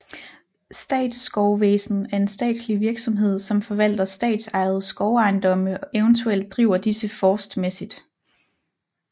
Statsskovvæsen er en statslig virksomhed som forvalter statsejede skovejendomme og eventuelt driver disse forstmæssigt